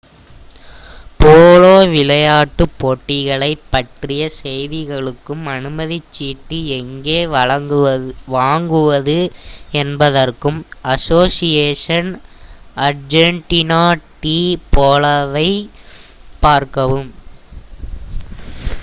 polo விளையாட்டுப் போட்டிகளைப் பற்றிய செய்திகளுக்கும் அனுமதிச் சீட்டு எங்கே வாங்குவது என்பதற்கும் அசோசியேஷன் அர்ஜென்டினா டி போலோவை பார்க்கவும்